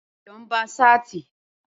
Ayọ̀ ń ba ṣáàtì